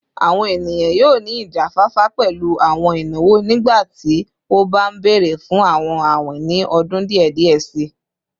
Awọn eniyan yoo ni ijafafa pẹlu awọn inawo nigbati o ba nbere fun awọn awin ni ọdun diẹ diẹ sii